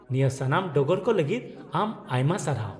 -ᱱᱤᱭᱟᱹ ᱥᱟᱱᱟᱢ ᱰᱚᱜᱚᱨ ᱠᱚ ᱞᱟᱹᱜᱤᱫ ᱟᱢ ᱟᱭᱢᱟ ᱥᱟᱨᱦᱟᱣ ᱾